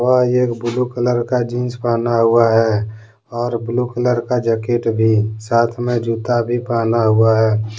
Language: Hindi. यह एक ब्लू कलर का जींस पहना हुआ है और ब्लू कलर का जैकेट भी साथ में जूता भी पहना हुआ है।